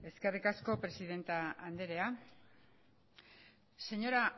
eskerrik asko presidente anderea señora